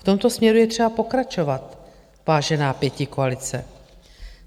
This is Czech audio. V tomto směru je třeba pokračovat, vážená pětikoalice.